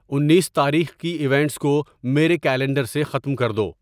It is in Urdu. انیس تاریخ کی ایونٹس کو میرے کیلنڈر سے ختم کر دو